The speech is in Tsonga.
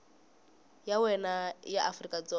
ya wena ya afrika dzonga